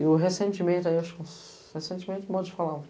Eu recentemente, acho que... recentemente modo de falar.